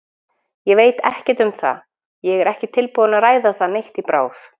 Ég veit ekkert um það, ég er ekki tilbúinn að ræða það neitt í bráð.